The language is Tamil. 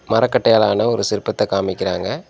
மரக்கட்டையால ஆன ஒரு சிற்பத்த காமிக்கிறாங்க.